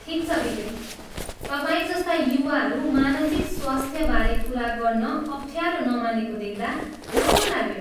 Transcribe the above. ठिक छ विवेक, तपाईँ जस्ता युवाहरू मानसिक स्वास्थ्यबारे कुरा गर्न अफ्ठ्यारो नमानेको देख्दा राम्रो लाग्यो।